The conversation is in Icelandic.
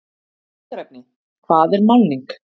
Ítarefni: Hvað er málning?